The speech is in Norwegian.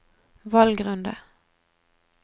valgrunde